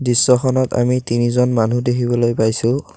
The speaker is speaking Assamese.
দৃশ্যখনত আমি তিনিজন মনুহ দেখিবলৈ পাইছোঁ।